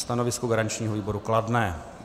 Stanovisko garančního výboru kladné.